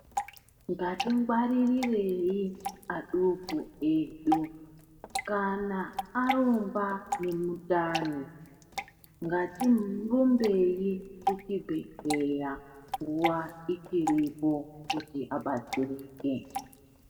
Ngatingwaririrei aduku edu kana arumba ngemundani ngatirumbei kuchibhedhleya nguwa ichiripo kuti abatsirike.